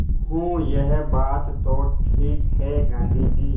हूँ यह बात तो ठीक है गाँधी जी